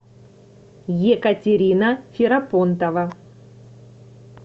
екатерина ферапонтова